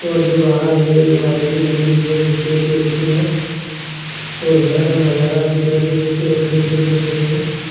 और जो बार में एक बाइक भी लगी हुई है जो बेहद ही अच्छी है और घर का नजारा भी बेहद खूबसूरत देखने को मिल रहा है।